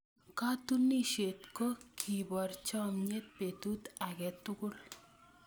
Katunisyet ko keboor chomnyet betut age tugul.